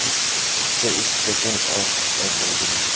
This picture is taken of a building.